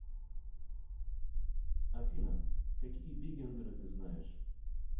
афина какие бигендеры ты знаешь